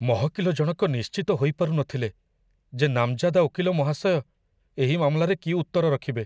ମହକିଲ ଜଣକ ନିଶ୍ଚିତ ହୋଇପାରୁନଥିଲେ ଯେ ନାମଜାଦା ଓକିଲ ମହାଶୟ ଏହି ମାମଲାରେ କି ଉତ୍ତର ରଖିବେ।